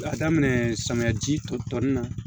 K'a daminɛ samiyaji ton ton na